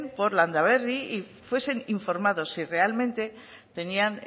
por landaberri y fuesen informados si realmente tenían